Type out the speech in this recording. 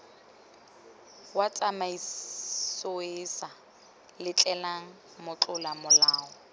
wa tsamaisoeesa letleleleng motlola molao